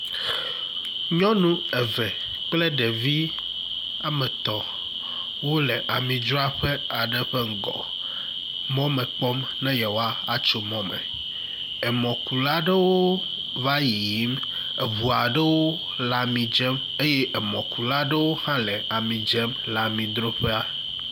Nyɔnu eve kple ɖevi ametɔ̃ wole amidzraƒe aɖe ƒe ŋgɔ mɔ me kpɔm nɛ yewoa atso mɔ me, emɔkula aɖewo va yiyim, eʋu aɖewo le amidzem eye emɔkula aɖewo hã le amidzem le amidroƒea.